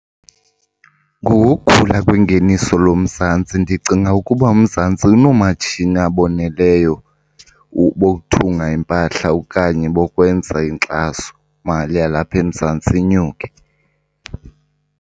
Ngokokukhula kwengeniso loMzantsi ndicinga ukuba uMzantsi unoomatshini aboneleyo bokuthunga impahla okanye bokwenza inkxasomali yalapha eMzantsi inyuke.